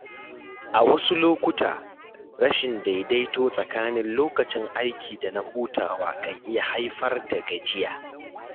A wasu lokuta, rashin daidaito tsakanin lokacin aiki da na hutawa kan iya haifar da gajiya.